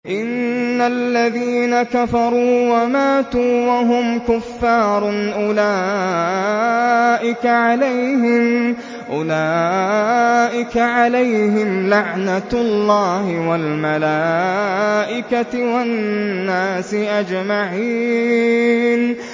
إِنَّ الَّذِينَ كَفَرُوا وَمَاتُوا وَهُمْ كُفَّارٌ أُولَٰئِكَ عَلَيْهِمْ لَعْنَةُ اللَّهِ وَالْمَلَائِكَةِ وَالنَّاسِ أَجْمَعِينَ